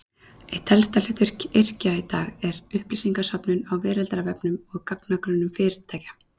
Eitt helsta hlutverk yrkja í dag er upplýsingasöfnun á veraldarvefnum og í gagnagrunnum fyrirtækja.